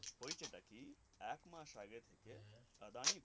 হয়েছে টাকি একমাস আগে থেকে আদানি গ্রুপ